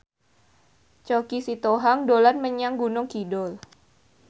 Choky Sitohang dolan menyang Gunung Kidul